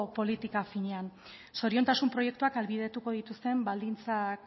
politika finean zoriontasun proiektuak ahalbidetuko dituzten baldintzak